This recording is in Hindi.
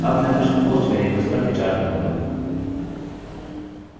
अब मैं कुछ post वेरिएबल्स पर विचार करूँगा